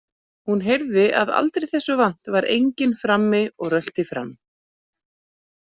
Hún heyrði að aldrei þessu vant var enginn frammi og rölti fram.